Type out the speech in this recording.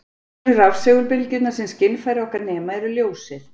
Einu rafsegulbylgjurnar sem skynfæri okkar nema eru ljósið.